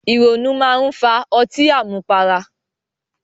Ìrònú máa ń fa ọtí àmupara